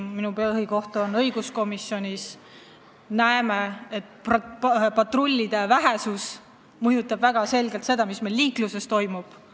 Minu põhikoht parlamendis on õiguskomisjonis ja me näeme, et patrullide vähesus mõjutab ilmselgelt seda, mis meil liikluses toimub.